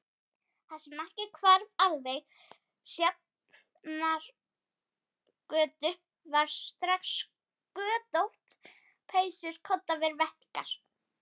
Það sem ekki hvarf alveg á Sjafnargötu varð strax götótt: peysur koddaver vettlingar.